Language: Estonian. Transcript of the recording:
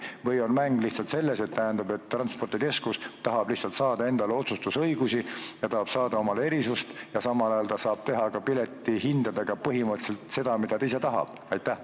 Või on mäng lihtsalt selles, et transpordikeskus tahab saada endale otsustusõigusi ja erisust, samal ajal saab ta aga teha piletihindadega põhimõtteliselt seda, mida ta ise tahab?